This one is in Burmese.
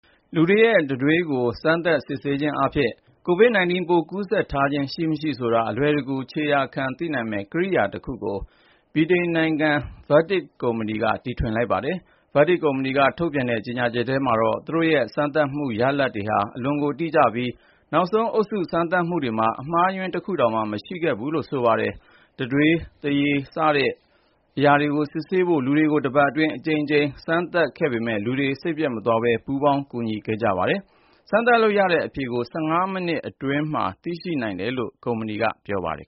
လူတွေရဲ့တံတွေးကို စမ်းသပ်စစ်ဆေးခြင်းအားဖြင့် COVID-19 ပိုး ကူးစက်ထားခြင်း ရှိမရှိဆိုတာ အလွယ်တကူ ခြေရာခံ သိရှိနိုင်မယ့် ကိရိယာတခုကို ဗြိတိန်ဆေးသိပ္ပံ ပညာရှင်တွေက တီထွင်လိုက်ကြောင်း Vatic လို့ခေါ်တဲ့ ဗြိတိန်ကုမ္ပဏီက ပြောပါတယ်။ Vatic ကုမ္ပဏီက ထုတ်ပြန်တဲ့ ကြေညာချက်ထဲမှာတော့ သူတို့ရဲ့စမ်းသပ်မှု ရလဒ်တွေဟာ အလွန်ကို တိကျပြီး နောက်ဆုံး အုပ်စု စမ်းသပ်မှုတွေမှာ အမှားအယွင်း တခုတောင်မှ မရှိခဲ့ဘူးလို့ ဆိုပါတယ်။ တံတွေး သွားရည်နဲ့ စစ်ဆေးဖို့ လူတွေကို တပတ်အတွင်း အကြိမ်ကြိမ် စမ်းသပ်ခဲ့ပေမယ့် လူတွေက စိတ်ပျက်မသွားဘဲ ပူးပေါင်းကူညီခဲ့ကြပါတယ်။ စမ်းသပ်လို့ရတဲ့ အဖြေကို ၁၅ မိနစ်အတွင်းမှာ သိရှိနိုင်မယ်လို့ ကုမ္ပဏီက ပြောပါတယ်